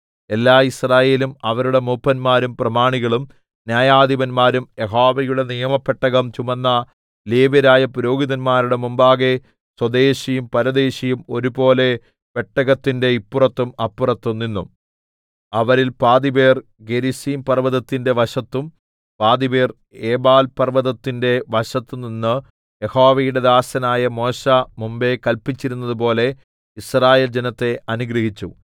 എല്ലാ യിസ്രായേലും അവരുടെ മൂപ്പന്മാരും പ്രമാണികളും ന്യായാധിപന്മാരും യഹോവയുടെ നിയമപ്പെട്ടകം ചുമന്ന ലേവ്യരായ പുരോഹിതന്മാരുടെ മുമ്പാകെ സ്വദേശിയും പരദേശിയും ഒരുപോലെ പെട്ടകത്തിന് ഇപ്പുറത്തും അപ്പുറത്തും നിന്നു അവരിൽ പാതിപേർ ഗെരിസീംപർവ്വതത്തിന്റെ വശത്തും പാതിപേർ ഏബാൽപർവ്വതത്തിന്റെ വശത്തും നിന്ന് യഹോവയുടെ ദാസനായ മോശെ മുമ്പെ കല്പിച്ചിരുന്നതുപോലെ യിസ്രായേൽ ജനത്തെ അനുഗ്രഹിച്ചു